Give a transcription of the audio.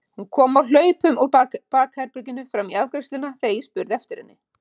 Hún kom á hlaupum úr bakherberginu fram í afgreiðsluna þegar ég spurði eftir henni.